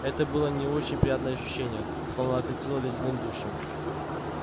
это было не очень приятное ощущение словно окатило ледяным душем